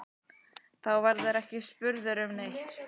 Þá verðurðu ekki spurður um neitt.